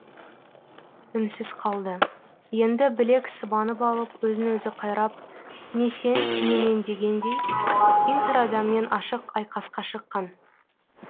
үнсіз қалды енді білек сыбанып алып өзін өзі қайрап не сен не мен дегендей интерадаммен ашық айқасқа шыққан